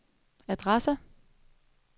adresse